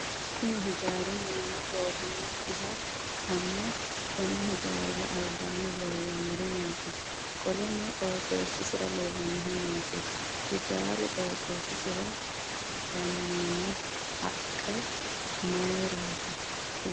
Kunni hijaari minname goofinokiha ikanna konni hijaarira albaanni leellanori maati? Qoleno qotisira leelanohu maati? Hijaaru qooxeesira gannonni haqe mayiratiro kuli?